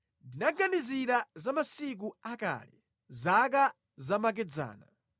Ndinaganizira za masiku akale, zaka zamakedzana;